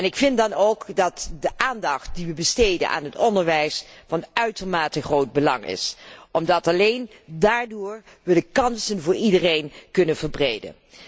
Ik vind dan ook dat de aandacht die we besteden aan het onderwijs van uitermate groot belang is omdat we alleen daardoor de kansen voor iedereen kunnen verbreden.